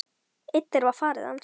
Einn þeirra var faðir hans.